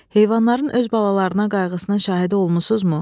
Heyvanların öz balalarına qayğısına şahidi olmusunuzmu?